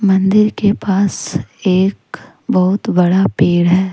मंदिर के पास एक बहुत बड़ा पेड़ है।